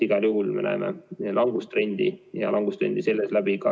Igal juhul me näeme langustrendi, ja seda ka piirangute puhul.